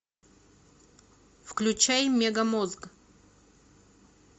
включай мегамозг